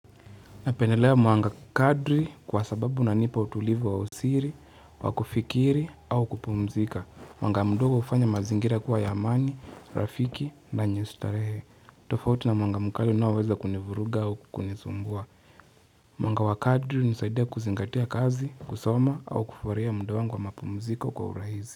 Napendelea mwanga kadri kwa sababu unanipa utulivu wa usiri, wa kufikiri au kupumzika. Mwanga mdogo hufanya mazingira kuwa ya amani, Rafiki na yenye starehe. Tofauti na mwanga mkali unaoweza kunivuruga au kunisumbua. Mwanga wa kadri hunisaidia kuzingatia kazi, kusoma au kufurahia mda wangu wa mapumziko kwa uraizi.